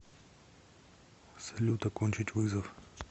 салют окончить вызов